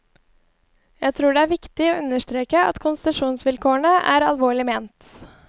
Jeg tror det er viktig å understreke at konsesjonsvilkårene er alvorlig ment.